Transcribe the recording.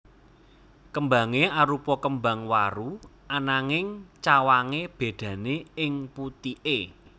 Kembange arupa kembang waru ananging cawange bedane ing putike